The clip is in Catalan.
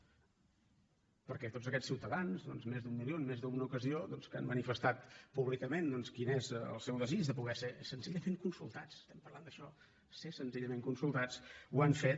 perquè tots aquests ciutadans més d’un milió en més d’una ocasió que han manifestat públicament quin és el seu desig de poder ser senzillament consultats estem parlant d’això ser senzillament consultats ho han fet